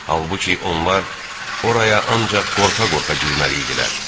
Halbuki onlar oraya ancaq qorxa-qorxa girməli idilər.